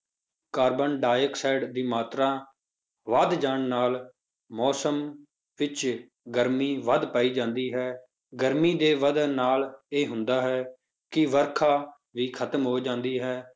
carbon dioxide ਦੀ ਮਾਤਰਾ ਵੱਧ ਜਾਣ ਨਾਲ ਮੌਸਮ ਵਿੱਚ ਗਰਮੀ ਵੱਧ ਪਾਈ ਜਾਂਦੀ ਹੈ, ਗਰਮੀ ਦੇ ਵੱਧਣ ਨਾਲ ਇਹ ਹੁੰਦਾ ਹੈ ਕਿ ਵਰਖਾ ਵੀ ਖਤਮ ਹੋ ਜਾਂਦੀ ਹੈ,